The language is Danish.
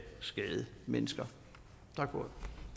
skade mennesker